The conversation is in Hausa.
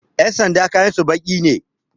Ƴan sanda kayansu baƙi ne